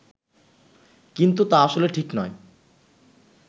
কিন্তু তা আসলে ঠিক নয়